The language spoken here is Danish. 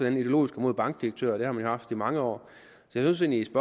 andet ideologisk imod bankdirektører det har man jo haft i mange år så jeg synes